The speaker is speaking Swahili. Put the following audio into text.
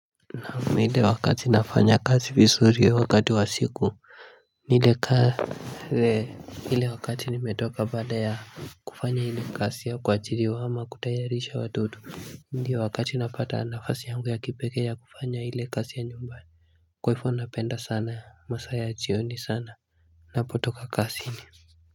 Na mida wakati nafanya kazi vizuri ya wakati wa siku Nilikaa hile wakati nimetoka baada ya kufanya ile kazi ya kuajiriwa ama kutayarisha watoto Ndiyo wakati napata nafasi yangu ya kipekee ya kufanya ile kazi ya nyumba Kwaifo napenda sana masaa ya chioni sana Napotoka kazini.